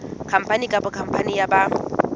khampani kapa khampani ya ba